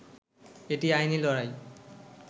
এটি আইনি লড়াই